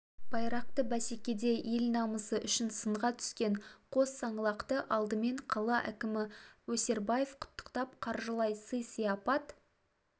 байрақты бәсекеде ел намысы үшін сынға түскен қос саңлақты алдымен қала әкімі өсербаев құттықтап қаржылай сый-сияпат